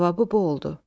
Cavabı bu oldu.